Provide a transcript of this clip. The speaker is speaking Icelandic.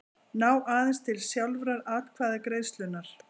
ná aðeins til sjálfrar atkvæðagreiðslunnar.